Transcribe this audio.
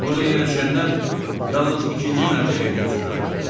Burda yerləşənlər yalnız ikinci mərtəbəyə köçürülə bilər.